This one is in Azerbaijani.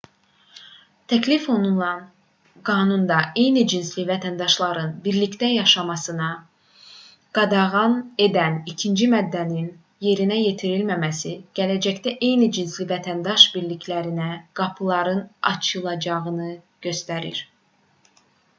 təklif olunan qanunda eyni cinsli vətəndaşların birlikdə yaşamasını qadağan edən ikinci maddənin yerinə yetirilməməsi gələcəkdə eyni cinsli vətəndaş birliklərinə qapıların açılacağını göstərir